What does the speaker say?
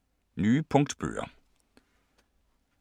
Nye punktbøger